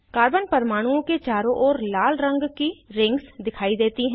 carbon परमाणुओं के चारों ओर लाल रंग की रिंग्स दिखाई देती हैं